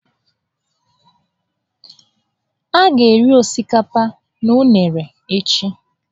A ga-eri osikapa na unere echi.